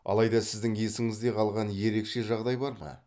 алайда сіздің есіңізде қалған ерекше жағдай бар ма